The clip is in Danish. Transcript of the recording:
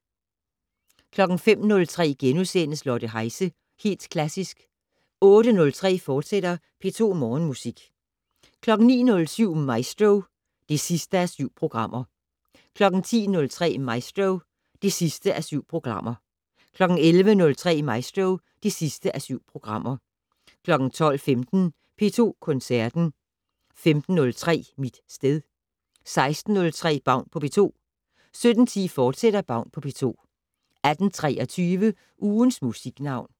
05:03: Lotte Heise - Helt Klassisk * 08:03: P2 Morgenmusik, fortsat 09:07: Maestro (7:7) 10:03: Maestro (7:7) 11:03: Maestro (7:7) 12:15: P2 Koncerten 15:03: Mit sted 16:03: Baun på P2 17:10: Baun på P2, fortsat 18:23: Ugens Musiknavn